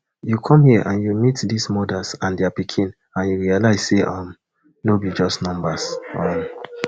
you come hia and you meet dis mothers and dia pikin and you realise say um no be just numbers um